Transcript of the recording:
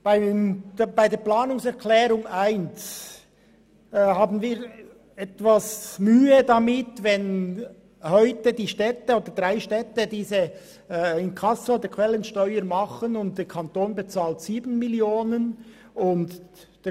Bezüglich der Planungserklärung 1 haben wir etwas Mühe, wenn heute drei Städte dieses Inkasso der Quellensteuer machen und der Kanton dafür 7 Mio. Franken bezahlt.